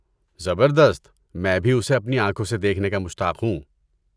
زبردست! میں بھی اسے اپنی آنکھوں سے دیکھنے کا مشتاق ہوں۔